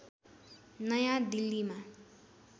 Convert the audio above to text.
नयाँ दिल्लीमा